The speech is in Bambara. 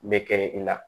Bɛ kɛ i la